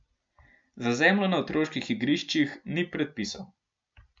Za zemljo na otroških igriščih ni predpisov.